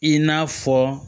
I n'a fɔ